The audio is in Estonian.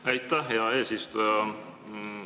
Aitäh, hea eesistuja!